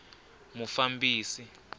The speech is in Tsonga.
mufambisi